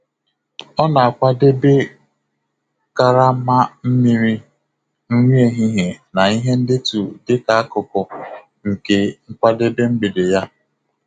Ọ na akwadebe karama mmiri, nri ehihie, na ihe ndetu dị ka akụkụ nke nkwadebe mgbede ya.